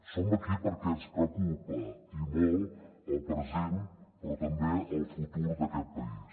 som aquí perquè ens preocupa i molt el present però també el futur d’aquest país